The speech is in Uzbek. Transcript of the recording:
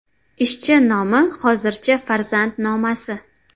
Ishchi nomi hozircha ‘Farzand nomasi’.